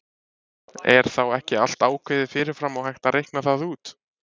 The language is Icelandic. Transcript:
er þá ekki allt ákveðið fyrir fram og hægt að reikna það út